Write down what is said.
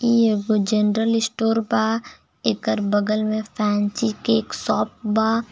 इ एगो general store बा एकर बगल में फैंसी केक शॉप बा।